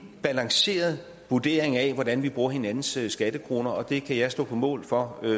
balanceret vurdering af hvordan vi bruger hinandens skattekroner og det kan jeg stå på mål for